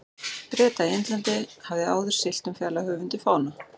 Breta í Indlandi, hafði áður siglt um fjarlæg höf undir fána